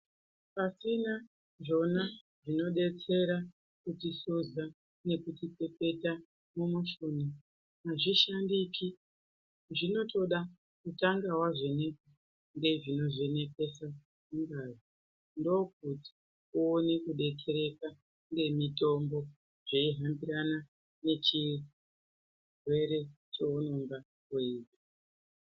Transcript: Pasina zvona zvinodetsera kutihluza nekutipepeta mumushuna hazvisahndiki. Zvinotoda kutanga wavhenekwa nezvinovhenekese ngazi. Ndookuti uone kudetsereka ngemitombo zveihambirana ngechirwere cheunonga uinacho.